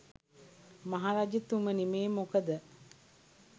මහරජතුමනි මේ මොකද